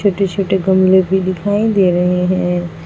छोटे छोटे गमले भी दिखाई दे रहे हैं।